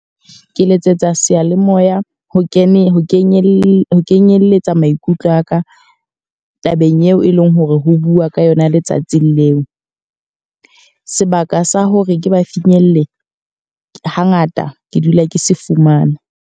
Ke letsetsa seyalemoya ho kenyelletsa maikutlo a ka, tabeng eo e leng hore ho bua ka yona letsatsing leo. Sebaka sa hore ke ba finyelle ha ngata ke dula ke se fumana.